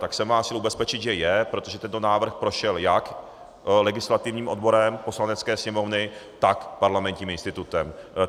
Tak jsem vás chtěl ubezpečit, že je, protože tento návrh prošel jak legislativním odborem Poslanecké sněmovny, tak Parlamentním institutem.